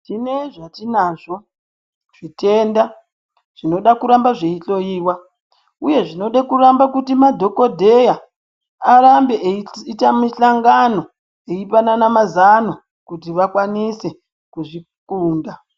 Tine zvatinazvo zvitenda zvinoda kuramba zveihloiwa uye zvinode kuramba kuti madhokodheya arambe eita mihlangano eipanana mazano kuti vakwanise kuzvikunda.